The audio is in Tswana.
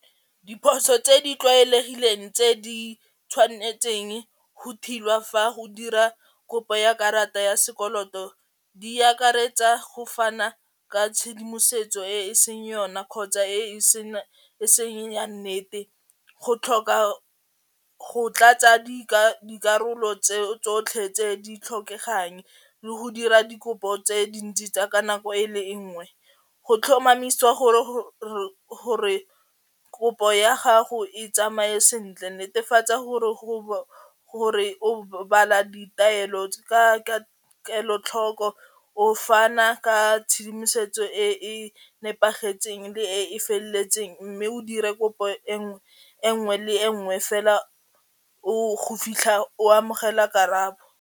Diphoso tse di tlwaelegileng tse di tshwanetseng go fa go dira kopo ya karata ya sekoloto di akaretsa go fana ka tshedimosetso e e seng yona kgotsa e e seng ya nnete, go tlhoka go tlatsa dikarolo tse tsotlhe tse di tlhokegang le go dira dikopo tse dintsi tsa ka nako e le nngwe go tlhomamisiwa gore kopo ya gago e tsamaye sentle netefatsa gore o bala ditaelo ka kelotlhoko o fana ka tshedimosetso e e nepagetseng le e feletseng mme o dire kopo e nngwe e nngwe le nngwe fela o go fitlha o amogela karabo.